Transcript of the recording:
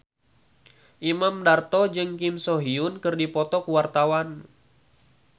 Imam Darto jeung Kim So Hyun keur dipoto ku wartawan